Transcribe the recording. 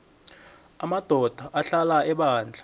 amadoda ahlala ebandla